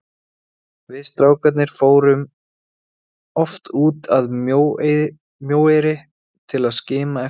Við strákarnir fórum oft út að Mjóeyri til að skima eftir bátunum.